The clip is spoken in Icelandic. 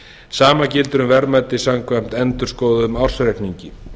sama gildir um verðmæti samkvæmt endurskoðuðum ársreikningi